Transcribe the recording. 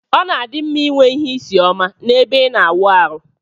Ọna adimma inwe ihe isi ọma na ebe ina awụ arụ.